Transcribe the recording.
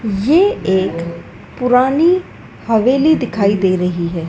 ये एक पुरानी हवेली दिखाई दे रही है।